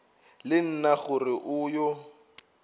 le nna gore o yo